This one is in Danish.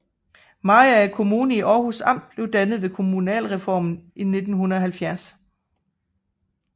Mariager Kommune i Århus Amt blev dannet ved kommunalreformen i 1970